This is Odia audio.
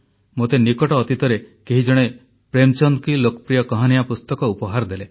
ମୋତେ ନିକଟ ଅତୀତରେ କେହି ଜଣେ ପ୍ରେମଚନ୍ଦ୍ କି ଲୋକପ୍ରିୟ କାହାନିୟାଁ ପୁସ୍ତକ ଉପହାର ଦେଲେ